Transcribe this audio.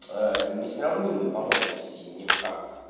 не сравнимый по мощности ни в как